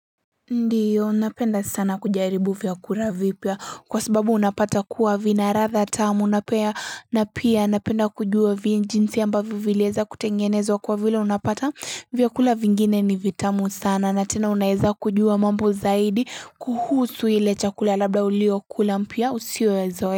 Ndiyo napenda sana kujaribu vyakura vipya kwa sababu unapata kuwa vina ladha tamu unapea na pia napenda kujua vijinzi ambavyo vilieza kutengenezwa kwa vile unapata vyakula vingine ni vitamu sana na tena unaeza kujua mambo zaidi kuhusu ile chakula labda ulio kulampya usio ya zoeya.